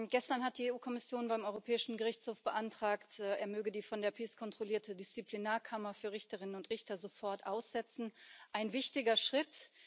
Gestern hat die EU Kommission beim Europäischen Gerichtshof beantragt, er möge die von der PiS kontrollierte Disziplinarkammer für Richterinnen und Richter sofort aussetzen ein wichtiger Schritt.